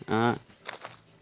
а